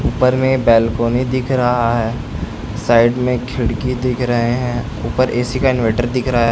ऊपर में बालकनी दिख रहा है साइड में खिड़की दिख रहे हैं ऊपर ऐ.सी. का इन्वर्टर दिख रहा है।